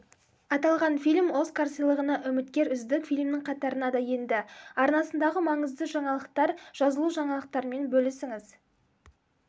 аталған фильм оскар сыйлығына үміткер үздік фильмнің қатарына да енді арнасындағы маңызды жаңалықтар жазылужаңалықтармен бөлісіңіз